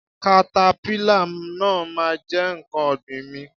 katapila náà ma jẹ nkán ọ̀gbìn mi.